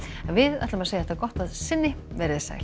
en við segjum þetta gott að sinni veriði sæl